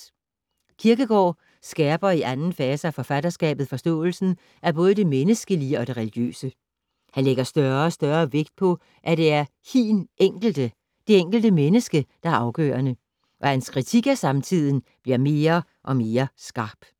Kierkegaard skærper i anden fase af forfatterskabet forståelsen af både det menneskelige og det religiøse. Han lægger større og større vægt på, at det er ”hiin Enkelte”, det enkelte menneske, der er afgørende. Og hans kritik af samtiden bliver mere og mere skarp.